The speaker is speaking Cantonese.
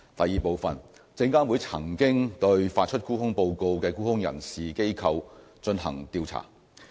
二證監會曾經對發出沽空報告的沽空人士/機構進行調查。